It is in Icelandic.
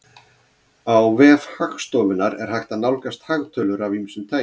Á vef Hagstofunnar er hægt að nálgast hagtölur af ýmsu tagi.